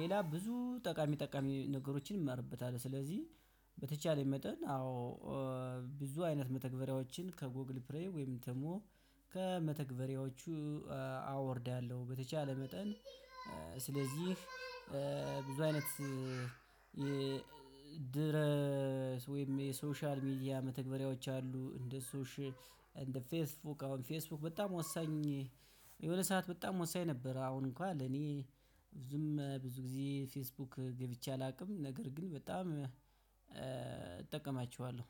ሌላ ብዙ ጠቃሚ ጠቃሚ ነገሮችን እማርበታለው። ስለዚህ በተቻለኝ መጠን አዎ ብዙ አይነት መተግበሪያዎችን ከጎግል ፕሌይ ወይም ደግሞ ከመተግበሪያዎቹ አወርዳለው። በተቻለ መጠን። ስለዚህ ብዙ አይነት የድረስ ወይም የሶሻል ሚዲያ መተግበሪያዎች አሉ። እንደ ሶሼ እንደ ፌስቡክ አሁን ፌስቡክ በጣም ወሳኝ የሁለት ሰዓት በጣም ወሳኝ ነበር። አሁን እንኳን ለኔ ብዙም ብዙ ጊዜ ፌስቡክ ገብቼ አላቅም ነገር ግን በጣም እጠቀማቸዋለው።